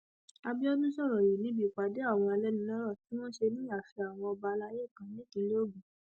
àbíọdún sọrọ yìí níbi ìpàdé àwọn alẹnulọrọ tí wọn ṣe ní ààfin àwọn ọba alayé kan nípínlẹ ogun